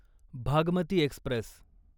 Bhagmati Express